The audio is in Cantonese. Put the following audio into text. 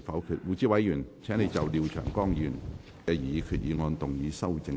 胡志偉議員，請就廖長江議員的擬議決議案動議修訂議案。